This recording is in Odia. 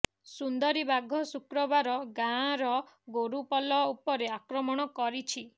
ସୁନ୍ଦରୀ ବାଘ ଶୁକ୍ରବାର ଗାଁର ଗୋରୁପଲ ଉପରେ ଆକ୍ରମଣ କରିଛି